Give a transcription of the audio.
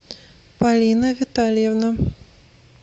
полина витальевна